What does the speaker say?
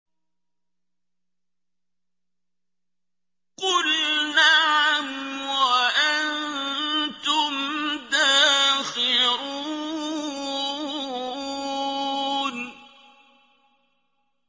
قُلْ نَعَمْ وَأَنتُمْ دَاخِرُونَ